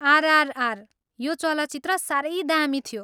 आरआरआर, यो चलचित्र साह्रै दामी थियो।